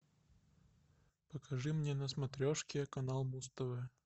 покажи мне на смотрешке канал муз тв